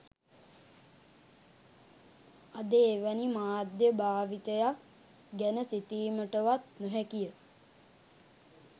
අද එවැනි මාධ්‍ය භාවිතයක් ගැන සිතීමටවත් නොහැකි ය